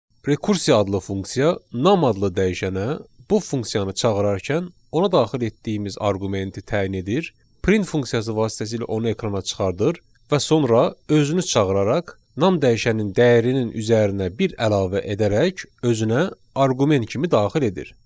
Rekursiya adlı funksiya nam adlı dəyişənə bu funksiyanı çağırarkən ona daxil etdiyimiz arqumenti təyin edir, print funksiyası vasitəsilə onu ekrana çıxardır və sonra özünü çağıraraq nam dəyişənin dəyərinin üzərinə bir əlavə edərək özünə arqument kimi daxil edir.